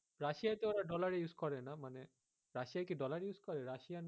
Russia তে তো ওরা dollar এ use করে না মানে, Russia কি dollar use করে Russian